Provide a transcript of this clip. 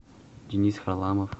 денис харламов